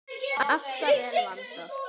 Alltaf vel vandað.